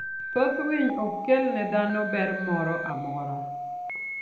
Thoth winy ok kel ne dhano ber moro amora.